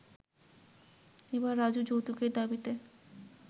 এবার রাজু যৌতুকের দাবিতে